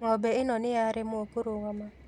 Ng'ombe ĩno nĩyaremwo kũrũgama